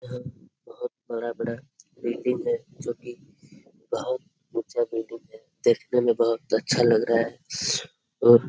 यहाँ बहोत बड़ा-बड़ा बिल्डिंग है जो की बहोत ऊंचा बिल्डिंग है। देखने में बहोत अच्छा लग रहा है और --